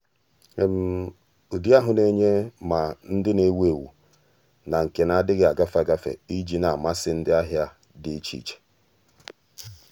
ụ́dị́ ahụ́ nà-ènyé ma ndị nà-èwú éwú na nke nà-adị́ghị́ ágafe ágafe iji nà-àmàsị́ ndị ahịa dị iche iche.